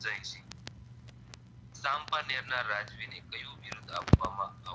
ના રાજવીને કયું બિરુદ્દ આપવામાં